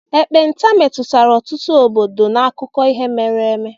ekpenta metụtara ọtụtụ obodo n'akụkọ ihe mere eme.